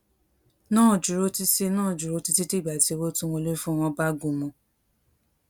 náà dúró títí náà dúró títí dìgbà tí owó tó ń wọlé fún wọn bá